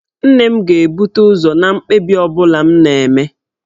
Nne m ga na-ebute ụzọ na mkpebi ọ bụla m na-eme.